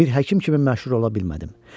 Bir həkim kimi məşhur ola bilmədim.